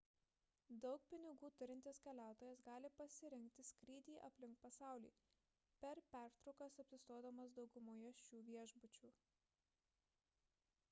daug pinigų turintis keliautojas gali pasirinkti skrydį aplink pasaulį per pertraukas apsistodamas daugumoje šių viešbučių